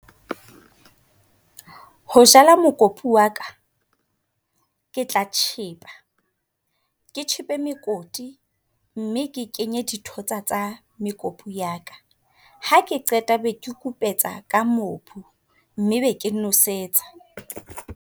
Ho jala mokopu waka ke tla tjhepha, ke tjhepe mekoti, mme ke kenye dithotsa tsa mekopu yaka. Ha ke qeta beke kupetsa ka mobu, mme be ke nwesetsa.